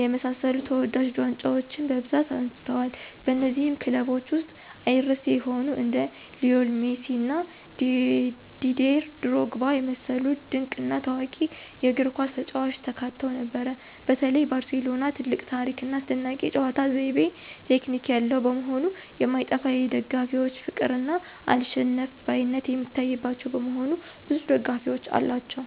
የመሳሰሉ ተወዳጅ ዋንጫዎችን በብዛት አንስተዋል። በነዚህም ክለቦች ውስጥ አይረሴ የሆኑ እንደ ሊዎኔል ሜሲ እና ዲዴር ድሮግባ የመሰሉ ድንቅ እና ታዋቂ የእግርኳስ ተጫዋቾች ተካተው ነበር። በተለይ ባርሴሎና ትልቅ ታሪክ ና አስደናቂ የጨዋታ ዘይቤ (ቴክኒክ) ያለው መሆኑ የማይጠፋ የደጋፊዎች ፍቅር እና አልሸነፍባይነት የሚታይባቸው በመሆኑ ብዙ ደጋፊዎች አሏቸው።